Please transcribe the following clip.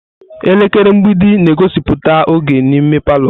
Elekere mgbidi na-egosipụta oge n'ime palọ.